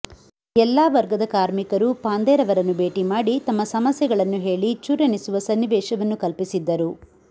ಎಲ್ಲಾ ವರ್ಗದ ಕಾಮರ್ಿಕರೂ ಪಾಂಧೆರವರನ್ನು ಭೇಟಿ ಮಾಡಿ ತಮ್ಮ ಸಮಸ್ಯೆಗಳನ್ನು ಹೆಳಿ ಚಚರ್ಿಸುವ ಸನ್ನಿವೇಶವನ್ನು ಕಲ್ಪಿಸಿದ್ದರು